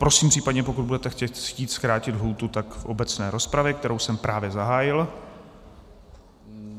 Prosím případně, pokud budete chtít zkrátit lhůtu, tak v obecné rozpravě, kterou jsem právě zahájil.